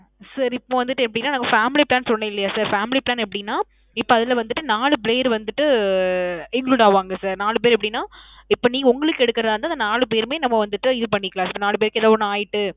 sir இப்போ வந்திட்டு எப்பிடினா நான் family plan சொன்னேன் இல்லியா sir. Family plan எப்பிடின்னா, இப்போ அதுல வந்திட்டு நாலு பேர் வந்திட்டு include ஆவாங்க sir நாலு பேர் எப்பிடின்னா, இப்போ நீ உங்களுக்கு எடுக்குறதா இருந்தா அந்த நாலு பேருமே நம்ம வந்துட்டு இது பண்ணிக்கலாம் sir, நாலு பேருக்கு எதோ ஒன்னு ஆயிட்டு